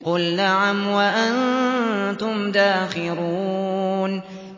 قُلْ نَعَمْ وَأَنتُمْ دَاخِرُونَ